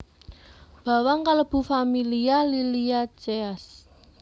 Bawang kalebu familia Liliaceae